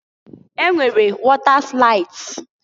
E nwere wọta slaịds.